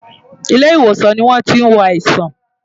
Ilé ìwòsàn ni a tí ń wo àìsàn.